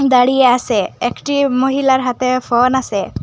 দাঁড়িয়ে আসে একটি মহিলার হাতে ফোন আসে।